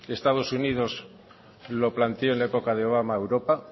estados unidos lo planteó en la época de obama a europa